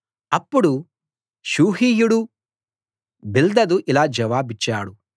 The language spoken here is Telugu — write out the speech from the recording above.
అప్పుడు షూహీయుడు బిల్దదు ఇలా జవాబిచ్చాడు